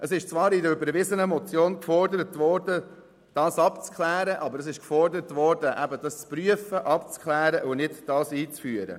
Zwar wurde in einer überwiesenen Motion gefordert, den Sachverhalt abzuklären, aber gefordert war nur die Prüfung und nicht die Einführung.